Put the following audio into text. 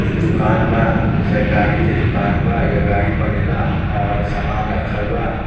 इ दुकान बा। एजा गाड़ी के दुकान बा। एजा गाड़ी बनेला और समान रखल बा।